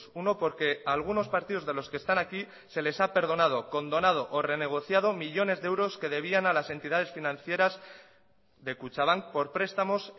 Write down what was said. uno porque algunos partidos de los que están aquí se les ha perdonado condonado o renegociado millónes de euros que debían a las entidades financieras de kutxabank por prestamos